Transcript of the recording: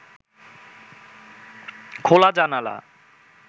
খোলা জানালা